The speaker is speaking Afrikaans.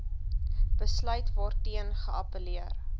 besluit waarteen geappelleer